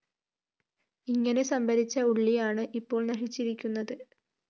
ഇങ്ങനെ സംഭരിച്ച ഉള്ളിയാണ് ഇപ്പോള്‍ നശിച്ചിരിക്കുന്നത്